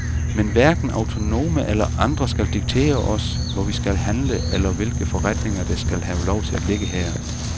Men hverken autonome eller andre skal diktere os, hvor vi skal handle eller hvilke forretninger, der skal have lov til at ligge her.